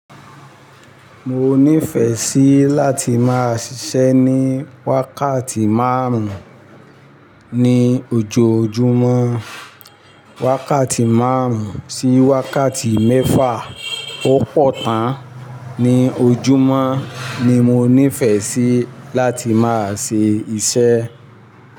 Mo nífẹ̀ẹ́ sí láti máa ṣíṣe ní wákàtí márùn-ún ní ojoojúmọ́. Wákàtí márùn-ún sí wákàtí mẹ́fà ó pọ̀ tán ní ojúmọ́ ni mo nífẹ̀ẹ́ sí láti máa ṣe iṣẹ́